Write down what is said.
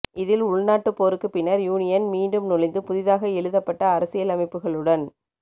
இதில் உள்நாட்டுப் போருக்கு பின்னர் யூனியன் மீண்டும் நுழைந்து புதிதாக எழுதப்பட்ட அரசியலமைப்புகளுடன்